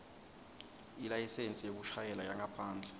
ilayisensi yekushayela yangaphandle